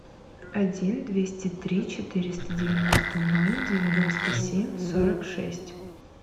один двести три четыреста девяносто ноль девяносто семь сорок шесть